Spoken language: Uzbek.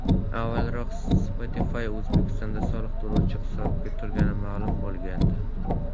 Avvalroq Spotify O‘zbekistonda soliq to‘lovchilar hisobiga turgani ma’lum bo‘lgandi .